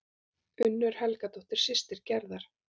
Unnur Helgadóttir, systir Gerðar.